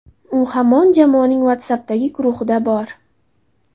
U hamon jamoaning WhatsApp’dagi guruhida bor.